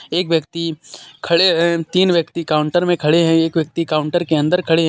एक व्यक्ति खड़े हे तीन व्यक्ति काउंटर मे खड़े हे एक व्यक्ति काउंटर के अंदर खड़े हे.